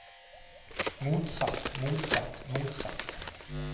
motsatt motsatt motsatt